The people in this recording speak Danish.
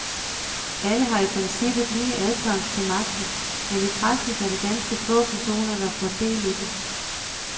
Alle har i princippet lige adkomst til magten, men i praksis er det ganske få personer der får del i den.